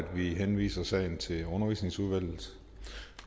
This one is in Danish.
vi henviser sagen til undervisningsudvalget